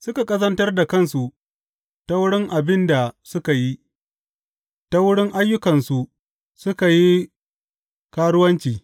Suka ƙazantar da kansu ta wurin abin da suka yi; ta wurin ayyukansu suka yi karuwanci.